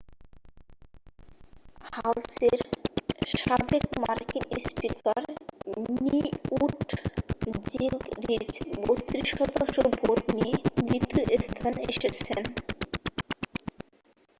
হাউসের সাবেক মার্কিন স্পিকার নিউট জিঙ্গরিচ 32 শতাংশ ভোট নিয়ে দ্বিতীয় স্থানে এসেছেন